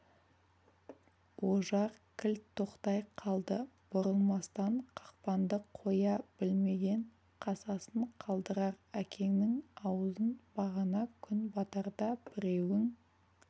ожар кілт тоқтай қалды бұрылмастан қақпанды қоя білмеген қасасын қалдырар әкеңнің аузын бағана күн батарда біреуің